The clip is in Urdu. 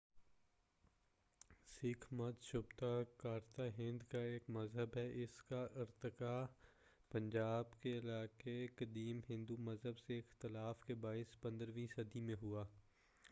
سکھ مت شبۃ قارۃ ھند کا ایک مذہب ہے اس کا ارتقاء پنجاب کے علاقہ میں قدیم ہندو مذہب سے اختلاف کے باعث 15 ویں صدی میں ہوا